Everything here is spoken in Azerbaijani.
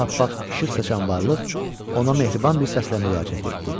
Aha, bax işıq saçan varlıq ona mehriban bir səslə müraciət etdi.